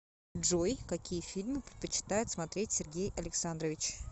джой какие фильмы предпочитает смотреть сергей александрович